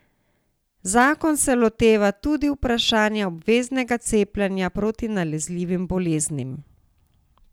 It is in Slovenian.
Zakon se loteva tudi vprašanja obveznega cepljenja proti nalezljivim boleznim.